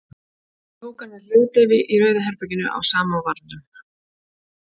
Ég tók hann með hljóðdeyfi í Rauða herberginu á Samóvarnum.